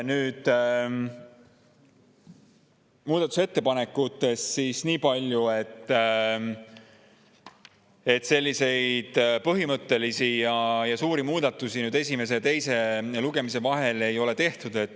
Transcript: Muudatusettepanekutest veel niipalju, et põhimõttelisi ja suuri muudatusi esimese ja teise lugemise vahel ei tehtud.